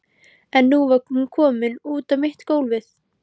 En nú var hún komin út á mitt gólfið.